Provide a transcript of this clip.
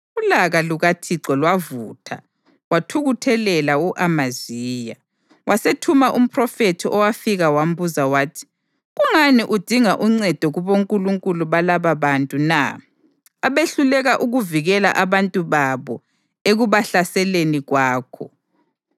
Ulaka lukaThixo lwavutha wathukuthelela u-Amaziya, wasethuma umphrofethi owafika wambuza wathi, “Kungani udinga uncedo kubonkulunkulu balababantu na, abehluleka ukuvikela abantu babo ekubahlaseleni kwakho?”